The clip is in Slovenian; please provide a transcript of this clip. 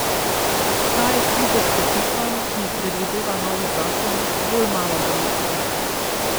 Ta je kljub okrepitvam, ki jih predvideva novi zakon, bolj malo verjeten.